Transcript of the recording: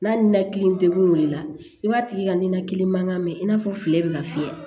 N'a ninakili degunna i b'a tigi ka ninakili mankan mɛ i n'a fɔ fili bɛ ka fiyɛ